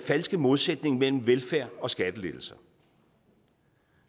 falske modsætning mellem velfærd og skattelettelser